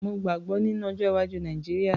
Mo gbàgbọ́ nínú ọjọ́-iwájú Nàìjíríà.